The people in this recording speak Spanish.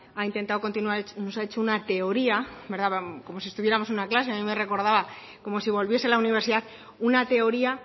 ha intentado continuar nos ha hecho una teoría como si estuviéramos en una clase a mí me recordaba como si volviese a la universidad una teoría